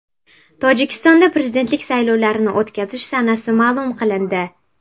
Tojikistonda prezidentlik saylovlarini o‘tkazish sanasi ma’lum qilindi.